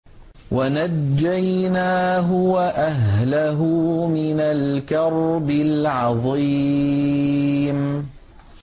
وَنَجَّيْنَاهُ وَأَهْلَهُ مِنَ الْكَرْبِ الْعَظِيمِ